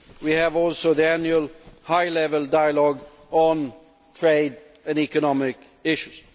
We also have the annual high level dialogue on trade and economic issues.